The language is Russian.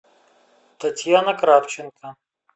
татьяна кравченко